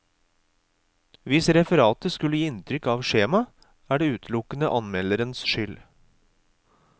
Hvis referatet skulle gi inntrykk av skjema, er det utelukkende anmelderens skyld.